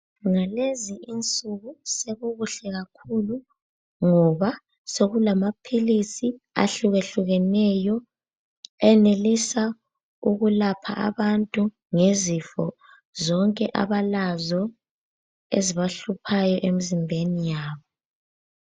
Ngalezi insuku sekukuhle kakhulu, ngoba sokulamaphilisi ahlukehlukeneyo enelisa ukulapha abantu ngezifo zonke abalazo ezibahluphayo emzimbeni yabo.